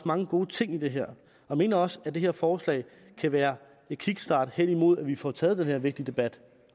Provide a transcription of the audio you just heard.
mange gode ting i det her og mener også at det her forslag kan være en kickstart hen imod at vi får taget den her vigtige debat